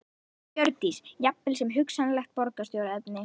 Hjördís: Jafnvel sem hugsanlegt borgarstjóraefni?